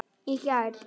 Í gær.